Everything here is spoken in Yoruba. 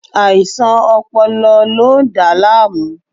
Aisan ọpọlọ lo n da laamu